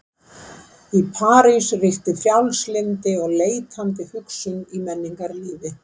Í París ríkti frjálslyndi og leitandi hugsun í menningarlífi.